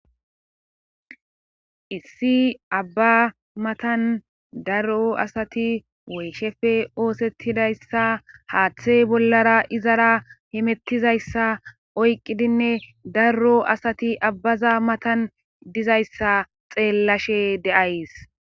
Issi abba matan darro asati woyshefe oosettidayssa haaththey bollara izara himettizayssa oyqqidinne darro asati abbaza matan dizayssa xeellashe de7ays